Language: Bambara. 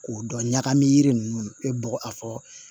K'o dɔn ɲagami yiri ninnu i bɛ bɔ a fɔ